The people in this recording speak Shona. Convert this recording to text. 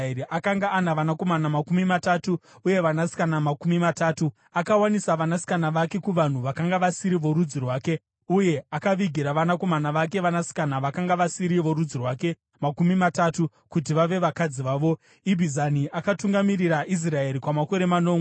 Akanga ana vanakomana makumi matatu uye vanasikana makumi matatu. Akawanisa vanasikana vake kuvanhu vakanga vasiri vorudzi rwake, uye akavigira vanakomana vake vanasikana vakanga vasiri vorudzi rwake makumi matatu kuti vave vakadzi vavo. Ibhizani akatungamirira Israeri kwamakore manomwe.